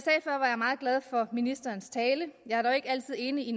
meget glad for ministerens tale jeg er dog ikke altid enig